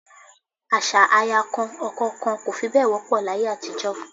Àṣà aya kan ọkọ kan kò fi bẹ́ẹ̀ wọ́pọ̀ láyé àtijọ́